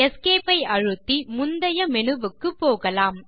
Esc ஐ அழுத்தி முந்தைய மேனு வுக்கு போகலாம்